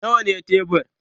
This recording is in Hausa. Nawa ne tebur?